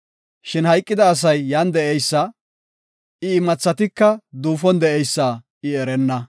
Shin hayqida asay yan de7eysa, I imathatika duufon de7eysa I erenna.